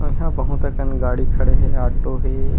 अऊ इहाँ बहुत अकन गाड़ी खड़े हे ऑटो हे।